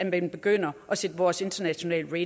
man begynder at sætte vores internationale